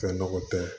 Fɛn nɔgɔ tɛ